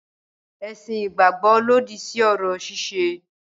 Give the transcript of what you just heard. Ẹ̀sìn ìgbàgbọ́ lòdì sí orò ṣíṣe.